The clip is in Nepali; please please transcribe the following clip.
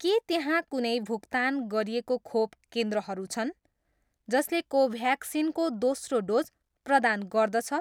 के त्यहाँ कुनै भुक्तान गरिएको खोप केन्द्रहरू छन् जसले कोभ्याक्सिन को दोस्रो डोज प्रदान गर्दछ?